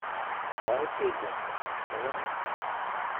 Saaxiibkeygii hore, iska waran?